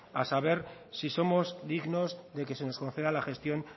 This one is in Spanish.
a saber si somos dignos de que se nos conceda la gestión